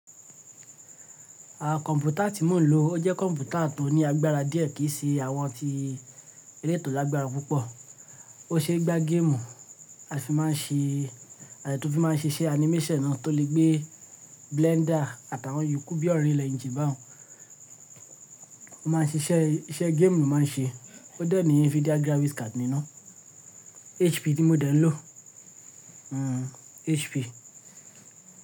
Àwọn kọ̀mpútà tí mò ń lò, ó jẹ́ kọ̀mpútà tó ní agbára díẹ̀ kìí ṣe àwọn tí elétò lágbára púpọ̀. Ó ṣeé gbá géèmù a fi má a ṣe àti tó fi má a ṣe iṣẹ́ animation náà tó lè gbé blender àtàwọn yòókù bí unreal engine bahun. Ó má a ṣe iṣẹ́, iṣẹ́ géèmù ló má a n ṣe. Ó dẹ̀ ní Nvidia graphics card nínú, HP tí mo dẹ̀ ń lò, HP.